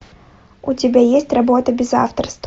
у тебя есть работа без авторства